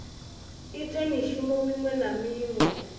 ite mushumo muṅwe na muṅwe